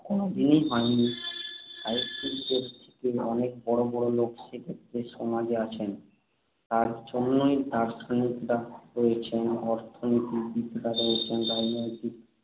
কোনদিনই হয়নি। সাহিত্যিকদের থেকেও অনেক বড় বড় লোক সেক্ষেত্রে সমাজে আছেন। তার জন্য দার্শনিকরা রয়েছেন, অর্থনীতিবিদরা রয়েছেন, রাজনৈতিক